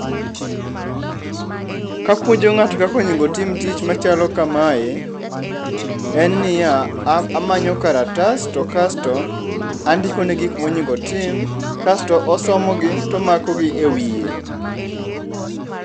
Kapuonjo ng'ato kaka onego otim tich machalo kamae, en niya, amanyo kalatas to kasto andikone gik monego otim kasto osomogi tomakogi ewiye.